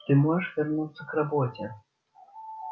ты можешь вернуться к работе